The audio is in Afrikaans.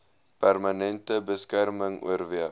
permanente beskerming oorweeg